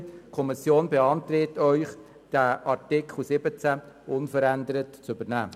Die Kommission beantragt dem Grossen Rat, Artikel 17 unverändert zu übernehmen.